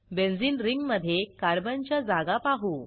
benzene रिंगमधे कार्बनच्या जागा पाहू